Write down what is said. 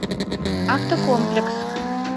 автокомплекс